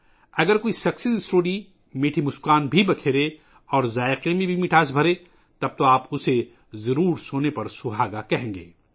اگر کامیابی کی کہانی میٹھی مسکراہٹیں پھیلاتی ہے اور ذائقہ بھی میٹھا ہے، تو آپ اسے یقینی طور پر سون پر سہاگا کہیں گے